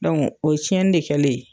o ye cɛnni de kɛlen ye.